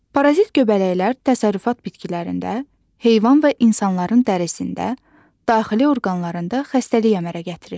Parazit göbələklər təsərrüfat bitkilərində, heyvan və insanların dərisində, daxili orqanlarında xəstəlik əmələ gətirir.